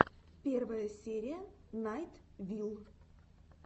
первая серия найт вилл